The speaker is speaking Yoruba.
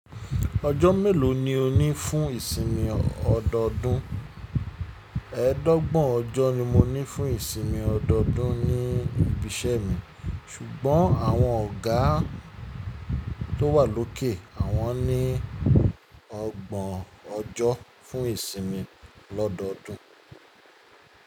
Ọjọ́ mélò ni o ní fún ìsinmi ọdọdún? Ẹẹ́dọ́gbọ̀n ọjọ́ ni mo ní fún ìsinmi ọdọdún ní ibi iṣẹ́ mi, ṣùgbọ́n àwọn ọ̀gá tó wà lókè, àwọn ní ọgbọ̀n ọjọ́ fún ìsinmi l'ọ́dọọdún.